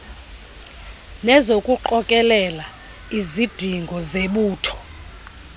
nezokuqokelela izidingo zebutho